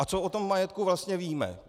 A co o tom majetku vlastně víme?